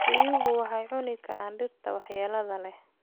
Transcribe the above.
Riyuhu waxay cuni karaan dhirta waxyeelada leh.